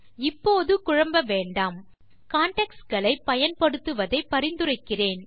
இப்போது குழம்ப வேண்டாம் கான்டெக்ஸ்ட் களை பயன்படுத்துவதை பரிந்துரைக்கிறேன்